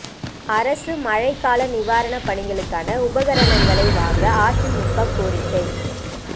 அரசு மழைக்கால நிவாரணப் பணிகளுக்கான உபகரங்களை வாங்க அதிமுக கோரிக்கை